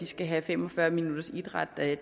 skal have fem og fyrre minutters idræt